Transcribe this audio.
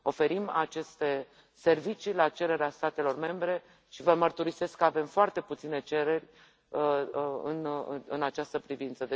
Oferim aceste servicii la cererea statelor membre și vă mărturisesc că avem foarte puține cereri în această privință